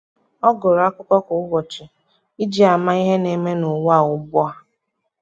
ọ́ gụ́rụ́ ákụ́kọ́ kwa ụ́bọ̀chị̀ iji màá ihe nà-ème n’ụ́wà ugbu a.